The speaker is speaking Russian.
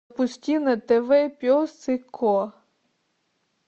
пусти на тв пес и ко